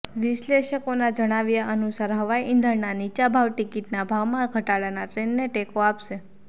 વિશ્લેષકોના જણાવ્યા અનુસાર હવાઈ ઈંધણના નીચા ભાવ ટિકિટના ભાવમાં ઘટાડાના ટ્રેન્ડને ટેકો આપશે